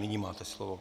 Nyní máte slovo.